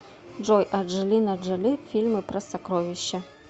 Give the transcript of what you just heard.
джой анджелина джоли фильмы про сокровища